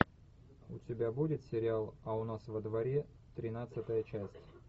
у тебя будет сериал а у нас во дворе тринадцатая часть